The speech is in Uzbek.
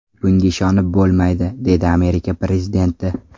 Bunga ishonib bo‘lmaydi”, dedi Amerika prezidenti.